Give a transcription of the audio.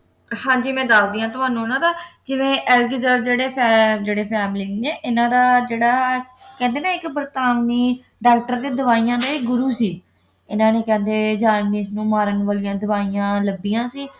ਹਾਂ ਜੀ ਮੈਂ ਦਸੱਦੀ ਹਾਂ ਤੁਹਾਨੂੰ ਉਨ੍ਹਾਂ ਦਾ ਜਿਵੇਂ ਅਲੈਕਜ਼ੇਂਡਰ ਜਿਹੜੇ ਅਹ ਜਿਹੜੇ ਫੇਮਲਿੰਗ ਨੇ ਇਨ੍ਹਾਂ ਦਾ ਜਿਹੜਾ ਕਹਿੰਦੇ ਨਾ ਇੱਕ ਬਰਤਾਨਵੀ doctor ਦੇ ਦਵਾਈਆਂ ਦੇ ਇਹ ਗੁਰੂ ਸੀ ਇਨ੍ਹਾਂ ਨੇ ਕਹਿੰਦੇ ਨੂੰ ਮਾਰਨ ਵਾਲਿਆਂ ਦਵਾਈਆਂ ਲੱਭੀਆਂ ਸੀ